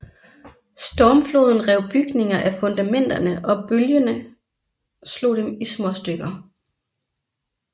Stormfloden rev bygninger af fundamenterne og bølgende slog dem i småstykker